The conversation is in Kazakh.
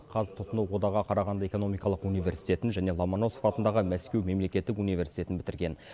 қазтұтынуодағы қарағанды экономикалық университетін және ломоносов атындағы мәскеу мемлекеттік университетін бітірген